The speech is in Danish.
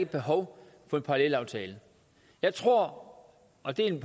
behov for en parallelaftale jeg tror og det er min